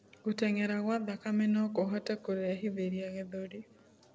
Guteng'era kwa thakame nokuhote kurehithirĩa gĩthũri